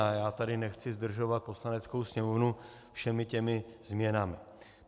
A já tady nechci zdržovat Poslaneckou sněmovnu všemi těmi změnami.